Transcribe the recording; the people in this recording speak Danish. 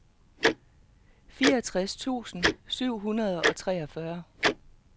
fireogtres tusind syv hundrede og treogfyrre